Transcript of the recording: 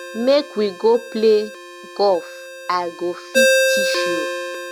make we go play golf i go fit teach you